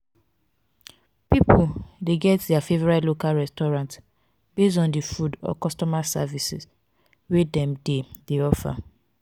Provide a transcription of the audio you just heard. pipo de get their favorite local restaurant based on di food or customer service wey dem de de offer